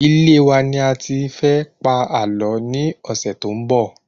Ilé wa ni a ti fẹ pa àlọ́ ni ọsẹ to n bo